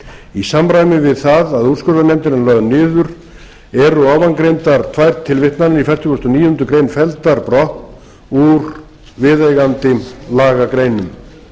í samræmi við það að úrskurðarnefndin er lögð niður eru ofangreindar tvær tilvitnanir í fertugustu og níundu grein felldar brott úr viðeigandi lagagreinum